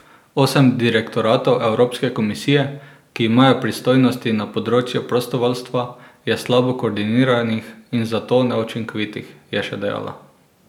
Osem direktoratov Evropske komisije, ki imajo pristojnosti na področju prostovoljstva, je slabo koordiniranih in zato neučinkovitih, je še dejala.